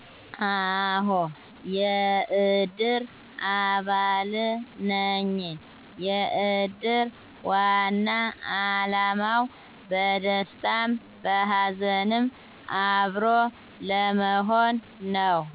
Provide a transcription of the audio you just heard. አሆ የእድር አባል ነኝ የእድር ዋና አላማው በደስታም በሀዘንም አብሮ ለመሆን ነው